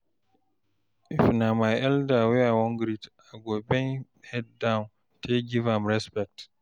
if na my elder wey I wan greet, I go bend head down take give am respect